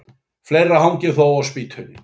Fleira hangir þó á spýtunni.